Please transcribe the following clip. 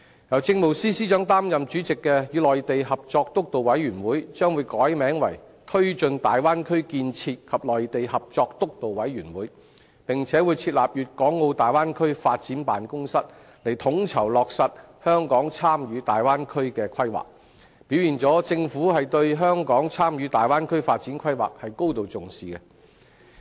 由政務司司長擔任主席的與內地合作督導委員會將會改名為推進大灣區建設及內地合作督導委員會，並會設立粵港澳大灣區發展辦公室以統籌落實香港參與大灣區的規劃，表現了政府對香港參與大灣區發展規劃是高度重視的。